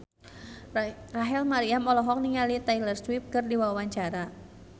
Rachel Maryam olohok ningali Taylor Swift keur diwawancara